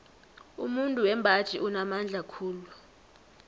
umuntu wembaji unamandla khulu